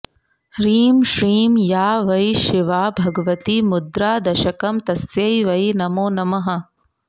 ह्रीं श्रीं या वै शिवा भगवती मुद्रादशकं तस्यै वै नमो नमः